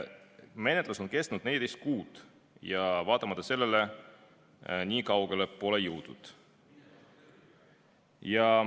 Menetlus on kestnud 14 kuud ja vaatamata sellele pole nii kaugele jõutud.